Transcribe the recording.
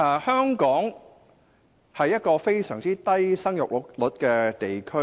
香港是一個生育率非常低的地區。